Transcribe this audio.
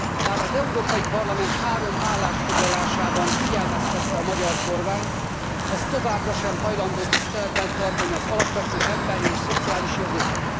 Már az Európai Parlament három állásfoglalásában figyelmeztette a magyar kormányt, az továbbra sem hajlandó tiszteletben tartani az alapvető emberi és szociális jogokat.